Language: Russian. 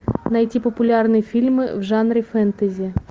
найти популярные фильмы в жанре фэнтези